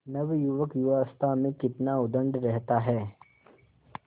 नवयुवक युवावस्था में कितना उद्दंड रहता है